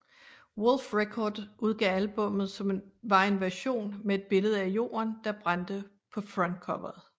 Woolfe Records udgav albummet som var en version med et billede af jorden der brændte på frontcoveret